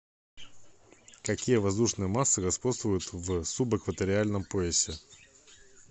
какие воздушные массы господствуют в субэкваториальном поясе